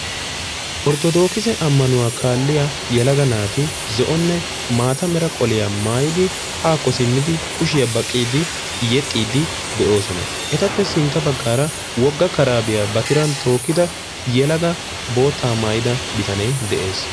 Orthodokkise amanuwa kaalliya yeelaaga naati zo'onne maataa meera qoliya maayidi haako simmidi kushiya baqqidi yeexxidi de'oosona. Ettape sintta baggara wogga karabbiya ba tiran tookkida yeelaga bootta maayida biitane de'ees.